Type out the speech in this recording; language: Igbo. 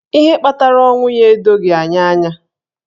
Ihe kpatara ọnwụ ya edoghi anyị anya.